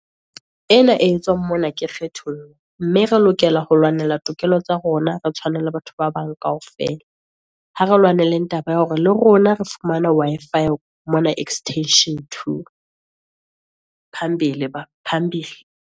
Ena e tswang mona ke kgethollo, mme re lokela ho lwanela tokelo tsa rona, re tshwane le batho ba bang kaofela. Ha re lwanelang taba ya hore, le rona re fumana Wi-Fi mona Extension 2, phambili phambili.